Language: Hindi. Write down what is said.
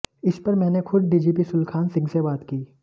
इस पर मैंने खुद डीजीपी सुलखान सिंह से बात की